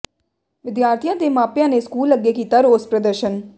ਵਿਦਿਆਰਥੀਆਂ ਤੇ ਮਾਪਿਆਂ ਨੇ ਸਕੂਲ ਅੱਗੇ ਕੀਤਾ ਰੋਸ ਪ੍ਰਦਰਸ਼ਨ